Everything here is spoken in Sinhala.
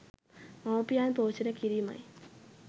මවුපියන් පෝෂණය කිරීමයි.